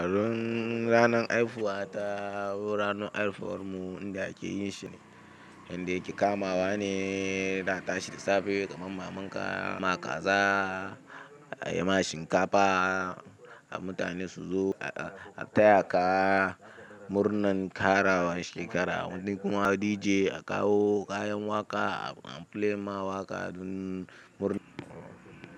Ran ranan haifuwa ta, ranan haifuwar mu inda ake yin shi ne yanda ake kamawa ne, da a tashi da safe kaman mamanka, a yanka ma kaza, a yi ma shinkafa, mutane su zo, a taya ka murnan ƙarawa shekara, wani kuma DJ a kawo kayan waƙa, a play ma waƙa dan murnan.